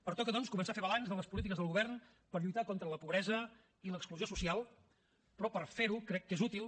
pertoca doncs començar a fer balanç de les polítiques del govern per lluitar contra la pobresa i l’exclusió social però per fer ho crec que és útil